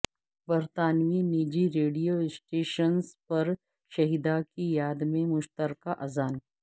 برطانوی نجی radio stations پر شہدا کی یاد میں مشترکہ اذان